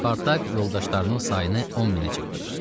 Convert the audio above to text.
Spartak yoldaşlarının sayını 10 minə çatdırır.